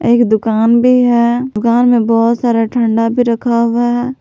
एक दुकान भी है दुकान में बहुत सारा ठंडा भी रखा हुआ है।